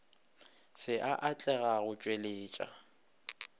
se a atlega go tšweletša